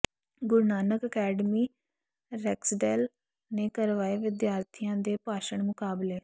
ਗੁਰੂ Nanak Academy Rexdale ਨੇ ਕਰਵਾਏ ਵਿਦਿਆਰਥੀਆਂ ਦੇ ਭਾਸ਼ਣ ਮੁਕਾਬਲੇ